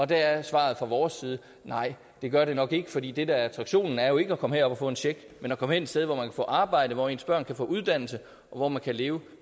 der er svaret fra vores side nej det gør det nok ikke fordi det der er attraktionen er jo ikke at komme herop og få en check men at komme hen et sted hvor man kan få arbejde hvor ens børn kan få uddannelse og hvor man kan leve